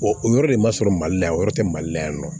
o yɔrɔ de man sɔrɔ mali la yan o yɔrɔ tɛ mali la yan nɔ